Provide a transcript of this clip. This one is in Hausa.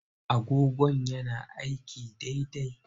Agogon yana aiki daidai?